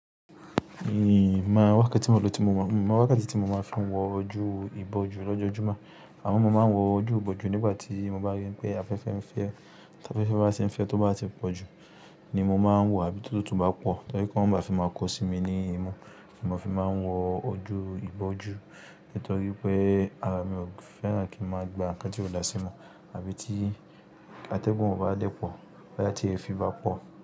In mo wákàtí tí mo máa fi ń wọ ojú ìbòjú lọ́jọjumo Àmọ́ mo máa ń wọ ojú ìbòjú nígbà tí mo bá rí pé afẹ́fẹ́ ń fẹ́, tí afẹ́fẹ́ bá ṣi ń fẹ́ tó bá ti pọ̀ jù ni mo máa ń wọ àbí ti otutu bá pọ̀ tóri pé kọ́ n bá fi máa kọ sí mi ní imú, mo fi máa ń wọ ojú ìbòjú nítorí pé à mi ò fẹ́ràn kí n máa gba nǹkan tí ó dá sí imu àbí tí atẹ́gùn bá dẹ́pọ̀, bá yá tí ẹfin bá pọ̀